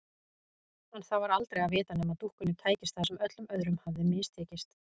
En það var aldrei að vita nema dúkkunni tækist það sem öllum öðrum hafði mistekist.